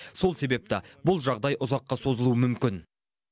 сол себепті бұл жағдай ұзаққа созылуы мүмкін